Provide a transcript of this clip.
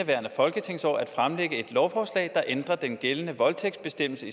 lovforslag der ændrer den gældende voldtægtsbestemmelse